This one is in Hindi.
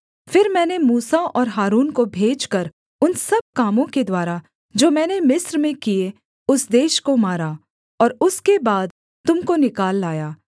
फिर मैंने मूसा और हारून को भेजकर उन सब कामों के द्वारा जो मैंने मिस्र में किए उस देश को मारा और उसके बाद तुम को निकाल लाया